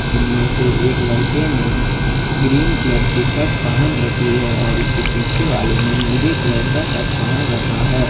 उनमें से एक लड़के ने ग्रीन कलर की शर्ट पहन रखी है और उसके पीछे वाले ने नीले कलर का शर्ट पहन रखा है।